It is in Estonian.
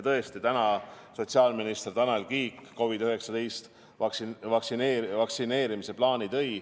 Täna tõi sotsiaalminister Tanel Kiik COVID-19 vaktsineerimise plaani.